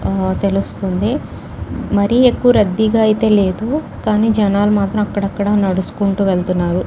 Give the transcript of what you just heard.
ఆ తెలుస్తోంది మరీ ఎక్కువ రద్దీగా అయ్యితే లేదు కానీ జన్నాలుమాత్రం అక్కడక్కడ నడుచుకుంటూ వెళ్తున్నారు.